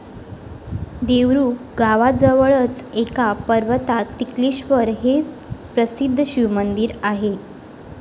देवरुख गावाजवळच एका पर्वतात टिकलेश्वर हे प्रसिद्ध शिवमंदिर आहे.